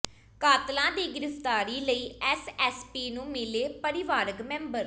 ਕਾਤਲਾਂ ਦੀ ਗ੍ਰਿਫ਼ਤਾਰੀ ਲਈ ਐਸਐਸਪੀ ਨੂੰ ਮਿਲੇ ਪਰਿਵਾਰਕ ਮੈਂਬਰ